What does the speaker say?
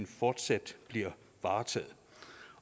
fortsat bliver varetaget